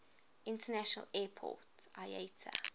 international airport iata